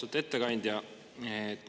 Austatud ettekandja!